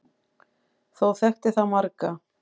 Þó þekkti það marga.